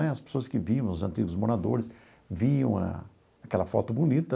Né as pessoas que vinham, os antigos moradores, viam a aquela foto bonita.